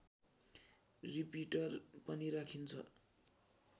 repeater पनि राखिन्छ